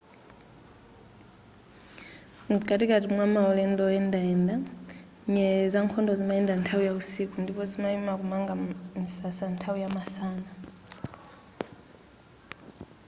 mkatikati mwa maulendo oyendayenda nyerere zankhondo zimayenda nthawi ya usiku ndipo zimayima kumanga msasa nthawi ya masana